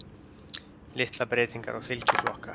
Litlar breytingar á fylgi flokka